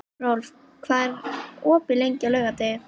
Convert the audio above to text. Rolf, hvað er opið lengi á laugardaginn?